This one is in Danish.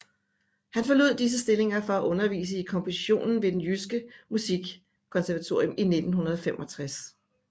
Han forlod disse stillinger for at undervise i komposition ved Det Jyske Musikkonservatorium i 1965